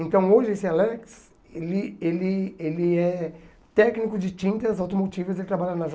Então hoje esse Alex, ele ele ele é técnico de tintas automotivas, ele trabalha na